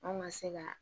Anw ka se ka